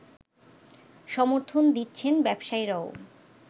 সমর্থন দিচ্ছেন ব্যবসায়ীরাও